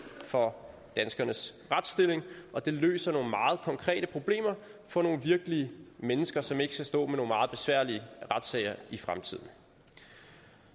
for danskernes retsstilling og det løser nogle meget konkrete problemer for nogle virkelige mennesker som ikke skal stå med nogle meget besværlige retssager i fremtiden